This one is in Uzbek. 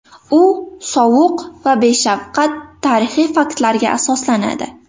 U sovuq va beshafqat tarixiy faktlarga asoslanadi.